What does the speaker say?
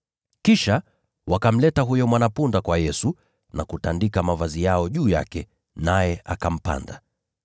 Kisha wakamleta huyo mwana-punda kwa Yesu na kutandika mavazi yao juu yake, naye akampanda.